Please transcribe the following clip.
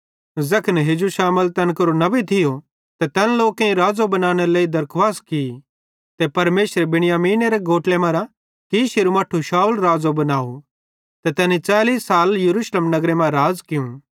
ज़ैखन हेजू शमूएल तैन केरो हाकिम थियो त तैन लोकेईं राज़ो बनानेरे लेइ दरखुवास की ते परमेशरे बिन्यामीनेरे गोत्रे मरां कीशेरू मट्ठू शाऊल राज़ो बनावं ते तैनी 40 साल यरूशलेम नगरे मां राज़ कियूं